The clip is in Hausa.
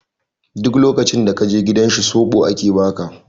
Duk lokacin da ka je gidan shi soɓo ake ba ka.